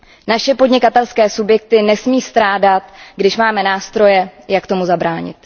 Naše podnikatelské subjekty nesmí strádat, když máme nástroje, jak tomu zabránit.